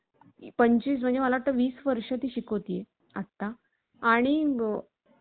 पंचवीस म्हणजे मला वाटतं वीस वर्ष ती शिकवते. आणि आता